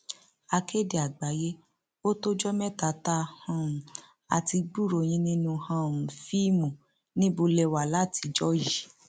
akéde àgbáyé ó tọjọ mẹta tá um a ti gbúròó yín nínú um fíìmù níbo lè wà látijọ yìí